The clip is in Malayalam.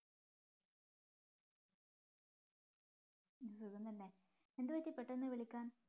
സുഖം തന്നെ എന്തുപറ്റി പെട്ടെന്നു വിളിക്കാൻ